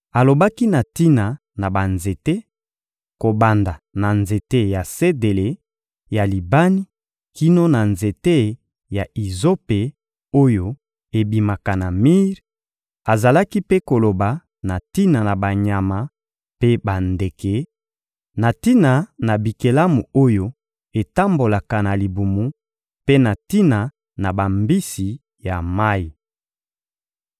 Alobaki na tina na banzete, kobanda na nzete ya sedele ya Libani kino na nzete ya izope oyo ebimaka na mir; azalaki mpe koloba na tina na banyama mpe bandeke, na tina na bikelamu oyo etambolaka na libumu mpe na tina na bambisi ya mayi.